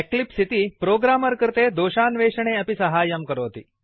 Eclipse इति programmer कृते दोषान्वेषणे अपि साहाय्यं करोति